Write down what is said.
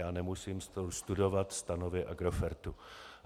Já nemusím studovat stanovy Agrofertu.